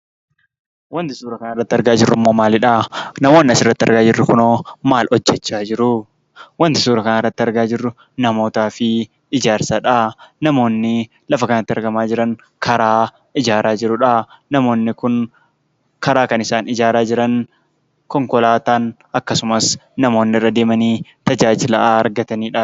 Wanti suuraa kanarratti argaa jirrummoo maalidhaa? namoonni asirratti argaa jirru kunoo maal hojjechaa jiruu? Wanti suura kanarratti argaa jirru namootaa fi ijaarsadhaa. Namoonnii lafa kanatti argamaa jiran karaa ijaaraa jirudhaa. Namoonni kun karaa kan isaan ijaaraa jiran konkolaataan akkasumas namoonni irra deemanii tajaajila ha argataniidha.